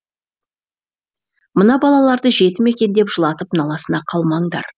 мына балаларды жетім екен деп жылатып наласына қалмаңдар